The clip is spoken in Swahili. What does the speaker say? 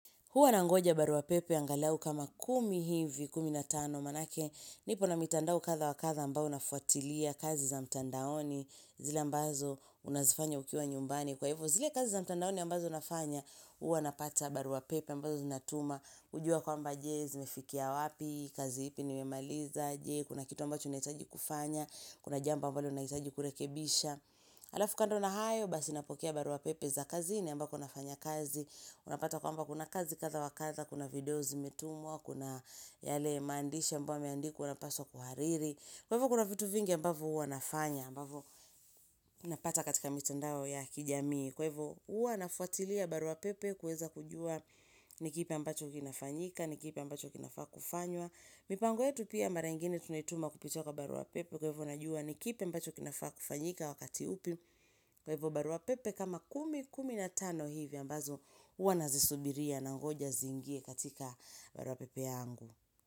Huwa nangoja barua pepe angalau kama kumi hivi, kumi na tano, manake, nipo na mitandao katha wakatha ambao nafwatilia kazi za mtandaoni, zile ambazo unazifanya ukiwa nyumbani. Kwa hivyo, zile kazi za mtandaoni ambazo nafanya, huwa napata barua pepe ambazo zinatuma, kujua kwa mbaje, zimefikia wapi, kazi ipi ni memaliza, jee, kuna kitu ambacho unahitaji kufanya, kuna jambo ambalo nahitaji kurekebisha. Halafu kando na hayo basi napokea barua pepe za kazini ambako nafanya kazi Unapata kwamba kuna kazi katha wakatha, kuna video zimetumwa, kuna yale mandisha mbwa yameandikwa unapaswa kuhariri Kweivo kuna vitu vingi ambavo uanafanya, ambavo napata katika mitandao ya kijamii Kwaivo uanafuatilia barua pepe kuweza kujua nikipe ambacho kinafanyika, nikipe ambacho kinafaa kufanywa mipango yetu pia mara ingine tunaituma kupitia kwa barua pepe kwaivo najua nikipi ambacho kinafaa kufanyika wakati upi Kwa hivyo barua pepe kama kumi, kumi na tano hivyo ambazo wanazisubiria na ngoja zingie katika barua pepe yangu.